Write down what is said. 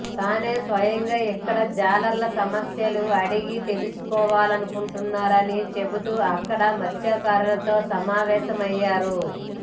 తానే స్వయంగా ఇక్కడ జాలర్ల సమస్యలు అడిగి తెలుసుకోవాలనుకుంటున్నాని చెబుతూ అక్కడ మత్స్యకారులతో సమావేశమయ్యారు